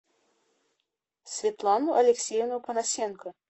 светлану алексеевну панасенко